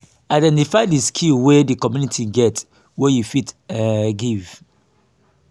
identify di skill wey di community get wey you fit um give